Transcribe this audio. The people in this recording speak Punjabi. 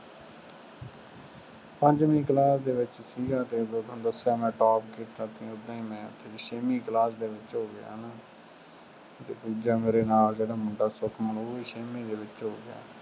ਪੰਜਵੀਂ class ਦੇ ਵਿੱਚ ਸੀਗਾ, ਕਈ ਵਾਰ ਤੁਹਾਨੂੰ ਦੱਸਿਆ ਮੈਂ top ਕੀਤਾ ਸੀ। ਉਂਦਾਂ ਮੈਂ ਛੇਵੀਂ class ਦੇ ਵਿੱਚ ਹੋ ਗਿਆ ਹੈ ਨਾ ਤੇ ਦੂਜਾ ਮੇਰੇ ਨਾਲ ਜਿਹੜਾ ਮੁੰਡਾ ਸੁਖਮਨ ਉਹ ਵੀ ਛੇਵੀਂ ਦੇ ਵਿੱਚ ਹੋ ਗਿਆ।